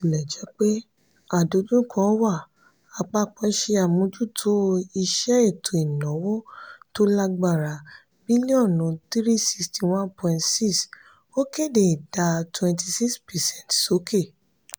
botilejepe àdojúko wà àpapọ se amojuto iṣe ètò ìnáwó tó lágbára bílíọ̀nù three hundred sixty one point six ó kéde ìdá twenty six percent sókè.